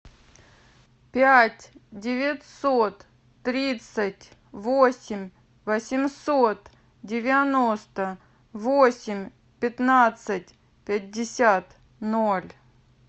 пять девятьсот тридцать восемь восемьсот девяносто восемь пятнадцать пятьдесят ноль